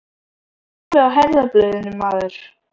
Þú ert alveg á herðablöðunum, maður!